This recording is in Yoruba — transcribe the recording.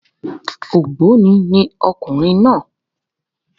Ògbóni ni ọkùnrin náà